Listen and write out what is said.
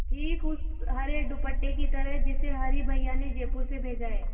ठीक उस हरे दुपट्टे की तरह जिसे हरी भैया ने जयपुर से भेजा है